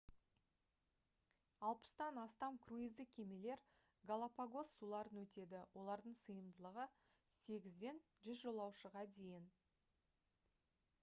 60-тан астам круиздік кемелер галапагос суларын өтеді олардың сыйымдылығы 8-ден 100 жолаушыға дейін